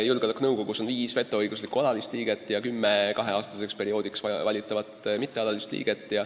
Julgeolekunõukogus on viis vetoõigusega alalist liiget ja kümme kaheaastaseks perioodiks valitavat mittealalist liiget.